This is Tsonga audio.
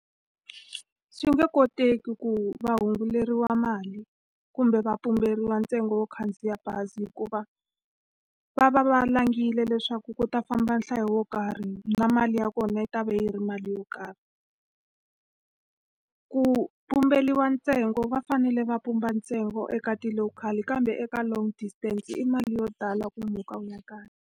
Swi nge koteki ku va hunguteriwa mali kumbe va pumberiwa ntsengo wo khandziya bazi hikuva, va va va langile leswaku ku ta famba nhlayo wo karhi na mali ya kona yi ta va yi ri mali yo karhi. Ku pumberiwa ntsengo va fanele va pumba ntsengo eka ti-local-i kambe eka long distance i mali yo tala ku muka u ya kaya.